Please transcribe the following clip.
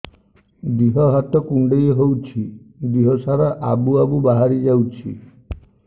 ଦିହ ହାତ କୁଣ୍ଡେଇ ହଉଛି ଦିହ ସାରା ଆବୁ ଆବୁ ବାହାରି ଯାଉଛି